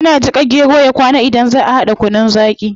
Ana jika gero ya kwana idan zaa a hada kunun zaqi